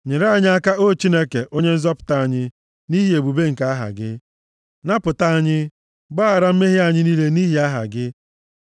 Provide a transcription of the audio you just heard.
Nyere anyị aka, O Chineke, Onye Nzọpụta anyị, nʼihi ebube nke aha gị; napụta anyị, gbaghara mmehie anyị niile nʼihi aha gị.